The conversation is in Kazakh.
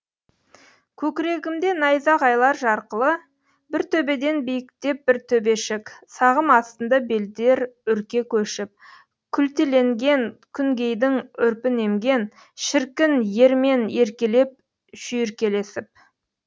көкірегімде найзағайлар жарқылы бір төбеден биіктеп бір төбешік сағым астында белдер үрке көшіп күлтеленген күнгейдің үрпін емген шіркін ермен еркелеп шүйркелесіп